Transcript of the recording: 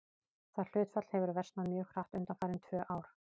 Það hlutfall hefur versnað mjög hratt undanfarin tvö ár.